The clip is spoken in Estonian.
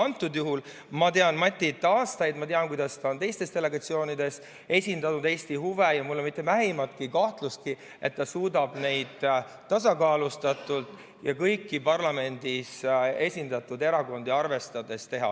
Aga ma tean Matit aastaid ja ma tean, kuidas ta on teistes delegatsioonides esindanud Eesti huve, seega mul pole mitte vähimatki kahtlust, et ta suudab seda tööd tasakaalustatult ja kõiki parlamendis esindatud erakondi arvestades teha.